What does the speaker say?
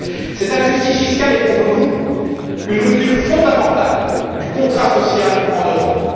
Cette injustice fiscale est pour nous une rupture fondamentale du contrat social en Europe.